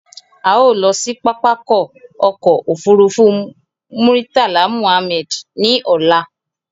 A ó lọ sí pápákọ̀ ọkọ̀ òfurufú Murtala Mohammed ní ọ̀la